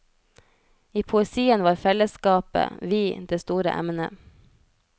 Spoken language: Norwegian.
I poesien var fellesskapet, vi, det store emnet.